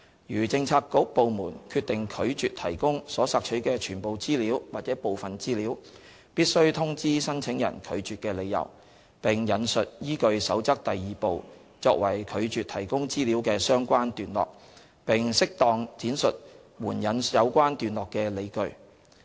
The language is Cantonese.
如政策局/部門決定拒絕提供所索取的全部資料或部分資料，必須通知申請人拒絕的理由，並引述依據《守則》第2部作為拒絕提供資料的相關段落，並適當闡述援引有關段落的理據。